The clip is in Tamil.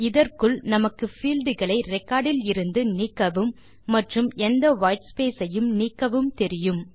இதற்குள் நமக்கு fieldகளை ரெக்கார்ட் இலிருந்து நீக்கவும் மற்றும் எந்த வைட் ஸ்பேஸ் ஐயும் நீக்கவும் தெரியும்